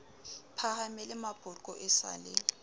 phahamele mapoqo e sa le